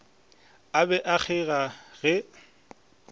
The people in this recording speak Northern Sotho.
a be a kgeiga ge